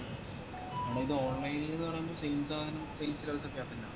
എടാ ഇത് online ന്ന് പറയുമ്പോ same സാധനം same